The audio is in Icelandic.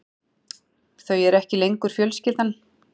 Þau eru ekki lengur fjölskyldan.